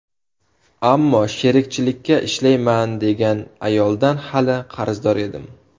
Ammo sherikchilikka ishlayman degan ayoldan hali qarzdor edim.